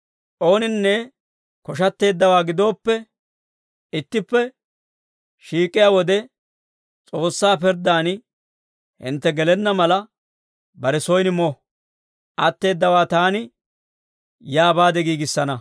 Ooninne koshatteeddawaa gidooppe, ittippe shiik'iyaa wode S'oossaa pirddan hintte gelenna mala, bare soyin mo. Atteeddawaa taani yaa baade giigissana.